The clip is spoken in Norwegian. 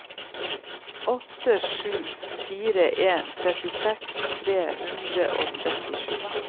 åtte sju fire en trettiseks tre hundre og trettisju